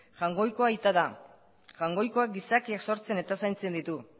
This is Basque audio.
jaungoiko aita da jaungoikoak gizakiak sortzen eta zaintzen ditu